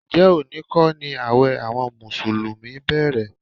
Ǹjẹ́ òní kọ́ ni ààwẹ̀ àwọn mùsùlùmí bẹ̀rẹ̀?